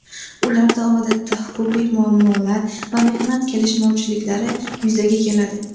Ularda odatda huquqiy muammolar va mehnat kelishmovchiliklari yuzaga keladi.